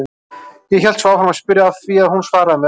Hélt svo áfram að spyrja af því að hún svaraði mér alltaf.